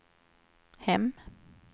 hem